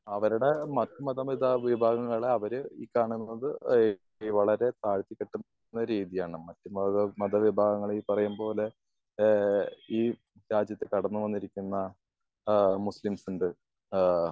അവരുടെ മറ്റു മതങ്ങള് എന്ന് വെച്ചാല് വിഭാഗങ്ങള് അവര് ഈ കാണുന്നത് ഏഹ് വളരെ താഴ്ത്തി കെട്ടുന്ന രീതിയാണ്. മറ്റു മത മത വിഭാഗങ്ങള് ഈ പറയുപോലെ ആഹ് ഈ രാജ്യത്ത് കടന്ന് വന്നിരിക്കുന്ന ആഹ് മുസ്ലിംസുകൾ. ആഹ്